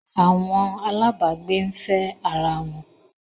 Awọn alabgbe n fe ara won